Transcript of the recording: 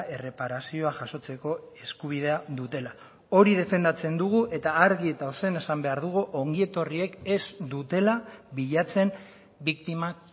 erreparazioa jasotzeko eskubidea dutela hori defendatzen dugu eta argi eta ozen esan behar dugu ongietorriek ez dutela bilatzen biktimak